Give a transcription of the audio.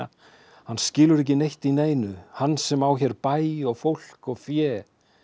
hann skilur ekki neitt í neinu hann sem á hér bæ og fólk og fé